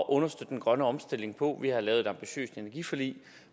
at understøtte den grønne omstilling på vi har lavet et ambitiøst energiforlig og